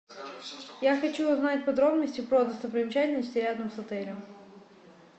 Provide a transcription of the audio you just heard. я хочу узнать подробности про достопримечательности рядом с отелем